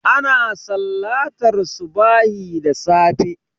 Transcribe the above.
Ana sallantar subahi da safe